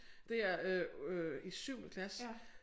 Det er øh i syvende klasse